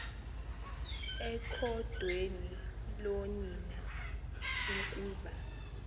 ekhondweni loonina ukuba